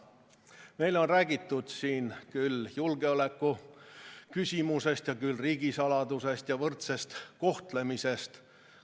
Meile on räägitud küll julgeoleku küsimusest, küll riigisaladusest ja võrdsest kohtlemisest.